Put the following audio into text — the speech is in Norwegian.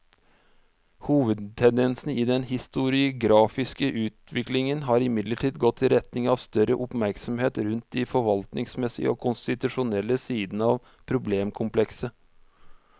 Hovedtendensen i den historiografiske utviklingen har imidlertid gått i retning av større oppmerksomhet rundt de forvaltningsmessige og konstitusjonelle sidene av problemkomplekset.